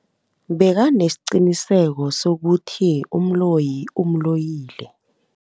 Bekanesiqiniseko sokuthi umloyi umloyile.